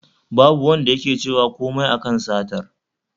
Babu Wanda yake cewa komai a kan satar